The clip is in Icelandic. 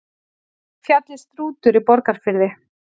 Fjallið Strútur í Borgarfirði.